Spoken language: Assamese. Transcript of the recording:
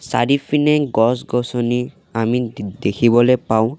চাৰিফিনে গছ গছনি আমি দে-- দেখিবলে পাওঁ।